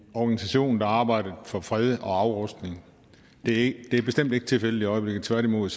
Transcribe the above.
organisation der arbejdede for fred og afrustning det er bestemt ikke tilfældet i øjeblikket tværtimod